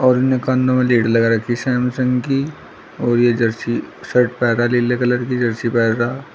और इन्होंने कानो में लीड लगा रखी सैमसंग की और यह जर्सी शर्ट पहना नीले कलर की जर्सी पहना।